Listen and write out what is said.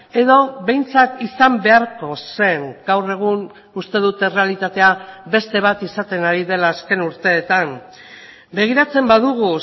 edo behintzat izan beharko zen gaur egun uste dut errealitatea beste bat izaten ari dela azken urteetan begiratzen badugu